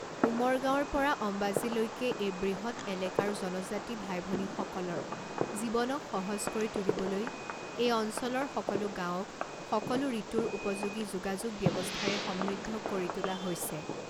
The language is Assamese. ঊমৰগাঁৱৰ পৰা অম্বাজীলৈকে এই বৃহৎ এলেকাৰ জনজাতি ভাই ভনীসকলৰ জীৱনক সহজ কৰি তুলিবলৈ এই অঞ্চলৰ সকলো গাঁৱক সকলো ঋতুৰ উপযোগী যোগাযোগ ব্যৱস্থাৰে সমৃদ্ধ কৰি তোলা হৈছে।